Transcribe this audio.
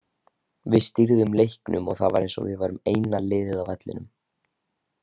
Við stýrðum leiknum og það var eins og við værum eina liðið á vellinum.